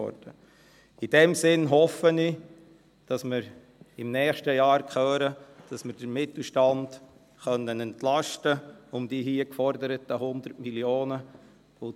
In diesem Sinn hoffe ich, dass wir im nächsten Jahr hören, dass wir den Mittelstand um die hier geforderten 100 Mio. Franken entlasten können.